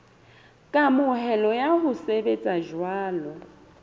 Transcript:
kamohelo ya ho sebetsa jwalo